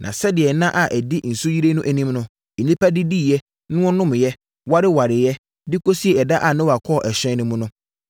Na sɛdeɛ nna a ɛdi nsuyire no anim no, nnipa didiiɛ, na wɔnomeeɛ, warewareeɛ, de kɔsii ɛda a Noa kɔɔ ɛhyɛn no mu,